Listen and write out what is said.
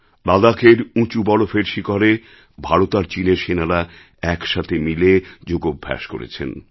লাদাখের উঁচু বরফের শিখরে ভারত আর চিনের সেনারা একসাথে মিলে যোগাভ্যাস করেছেন